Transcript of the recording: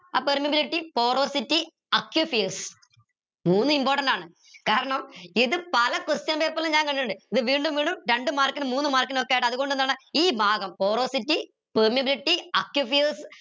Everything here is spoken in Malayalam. ആ permeability മൂന്നു important ആണ് കാരണം ഇത് പല question paper ലും ഞാൻ കണ്ടിട്ടിണ്ട് ഇത് വീണ്ടും വീണ്ടും രണ്ട് mark നും മൂന്ന് mark നും ഒക്കെ ആയിട്ട് അത്കൊണ്ട് എന്താണ് ഈ ഭാഗം porosity permeability